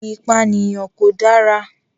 Ìpànìyàn kò dára.